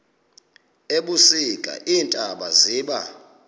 ebusika iintaba ziba